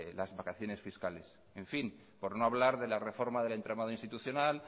las vacaciones fiscales en fin por no hablar de la reforma del entramado institucional